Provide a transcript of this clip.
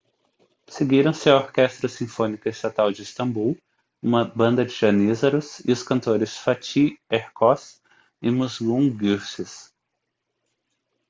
seguiram-se a orquestra sinfônica estatal de istambul uma banda de janízaros e os cantores fatih erkoç e muslum gurses